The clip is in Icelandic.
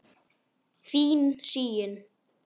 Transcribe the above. Þín Sigyn.